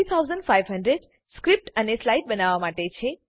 3500 script અને slides બનાવવા માટે છે